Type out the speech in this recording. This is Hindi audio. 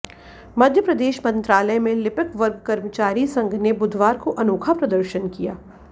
मध्य प्रदेश मंत्रालय में लिपिक वर्ग कर्मचारी संघ ने बुधवार को अनोखा प्रदर्शन किया